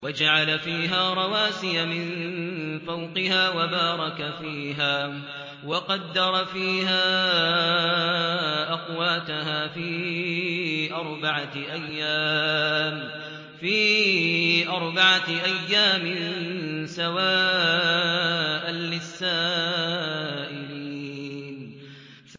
وَجَعَلَ فِيهَا رَوَاسِيَ مِن فَوْقِهَا وَبَارَكَ فِيهَا وَقَدَّرَ فِيهَا أَقْوَاتَهَا فِي أَرْبَعَةِ أَيَّامٍ سَوَاءً لِّلسَّائِلِينَ